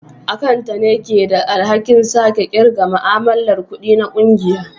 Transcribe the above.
Akanta ne ke da alhakin sake kirga ma'amalar kudi na kungiya